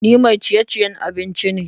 Ni mai ciye-ciye abinci ne.